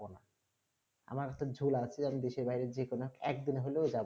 আমার একটা ঝোলা আছে আমি দেশের বাইরে যে কোনো এক দিন হলো যাবো